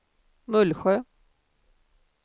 Mullsjö